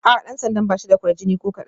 A'a, dan sandan ba shi da kwarjini ko kadan